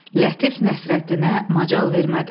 Lətif Nəsrəddinə macal vermədi.